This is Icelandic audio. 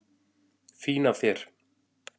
Fín af þér.